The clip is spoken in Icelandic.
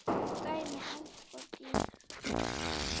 Dæmi: Eldborg í